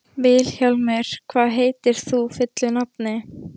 Vilhjálmur, hvað heitir þú fullu nafni?